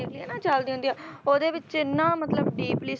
ਚਲਦਿਆਂ ਹੁੰਦੀਆਂ ਉਹਦੇ ਵਿੱਚ ਇੰਨਾ ਮਤਲਬ